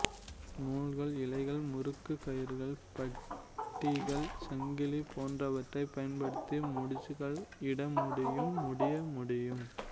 நூல்கள் இழைகள் முறுக்குக் கயிறுகள் பட்டிகள் சங்கிலி போன்றவற்றைப் பயன்படுத்தி முடிச்சுக்கள் இடமுடியும் முடிய முடியும்